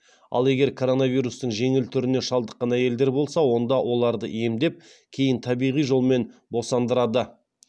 ал егер коронавирустың жеңіл түріне шалдықан әйелдер болса онда оларды емдеп кейін табиғи жолмен босандырады